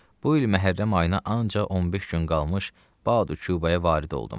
Bu il məhərrəm ayına ancaq 15 gün qalmış Badukubaya varid oldum.